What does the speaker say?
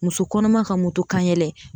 Muso kɔnɔma ka motokanyɛlɛ